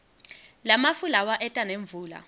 lamafu lawa eta nemvula